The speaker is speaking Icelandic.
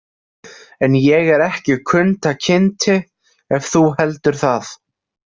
En ég er ekki Kunta Kinte, ef þú heldur það.